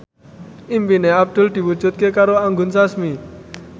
impine Abdul diwujudke karo Anggun Sasmi